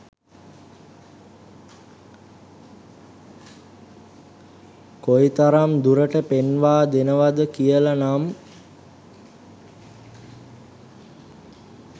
කොයි තරම් දුරට පෙන්වා දෙනවද කියලා නම්.